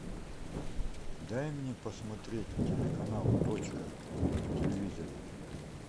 дай мне посмотреть телеканал точка на телевизоре